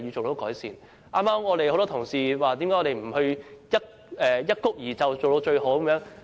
多位議員剛才質疑何不一蹴而就，做到最好。